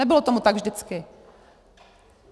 Nebylo tomu tak vždycky.